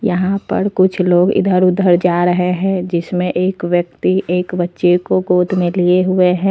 यहां पर कुछ लोग इधर उधर जा रहे हैं जिसमें एक व्यक्ति एक बच्चे को गोद में लिए हुए हैं।